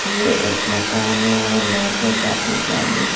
ये एक मकान है और यहां पे काफी सारी।